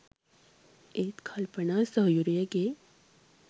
ඒත් කල්පනා සොහොයුරියගේ